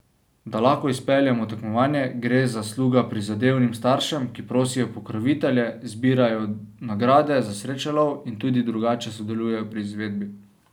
Da lahko izpeljemo tekmovanje, gre zasluga prizadevnim staršem, ki prosijo pokrovitelje, zbirajo nagrade za srečelov in tudi drugače sodelujejo pri izvedbi.